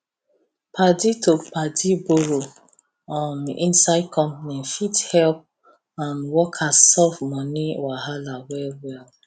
padi to padi borrow um inside company fit help um workers solve money wahala well well